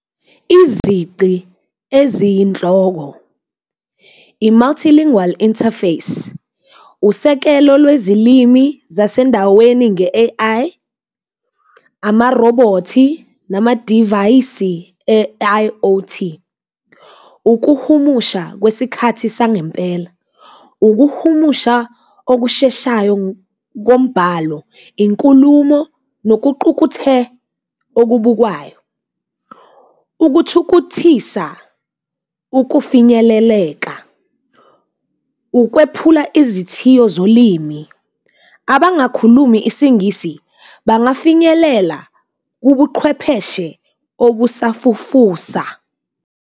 Izici eziyinhloko i-Multilingual Interface, usekelo lwezilimi zasendaweni nge-A_I, amarobhothi, nama-divayisi e-I_o_T. Ukuhumusha kwesikhathi sangempela, ukuhumusha okusheshayo kombhalo, inkulumo nokuqukethe okubukwayo. Ukuthukuthisa ukufinyeleleka, ukwephula izithiyo zolimi abangakhulumi isiNgisi bangafinyelela kubuqhwepheshe obusafufusa.